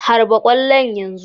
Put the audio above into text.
Harba ƙwallon yanzu!"